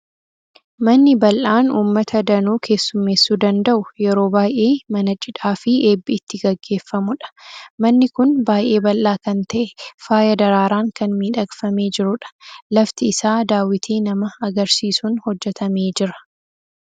Manni bal'aan uummata danuu keessummeessuu danda'u yeroo baay'ee mana cidhaa fi eebbi itti gaggeeffamudha. Manni kun baay'ee bal'aa kan ta'e, faaya daraaraan kan miidhagfamee jirudha. Lafti isaa daawwitii nama agarsiisuun hojjetamee jira.